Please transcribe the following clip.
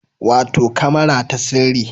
Wato kamara ta sirri